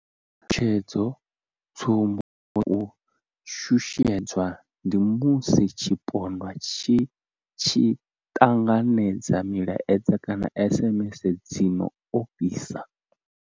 Tshutshedzo tsumbo ya u shushedzwa ndi musi tshipondwa tshi tshi ṱanganedza milaedza kana SMS dzi no ofhisa.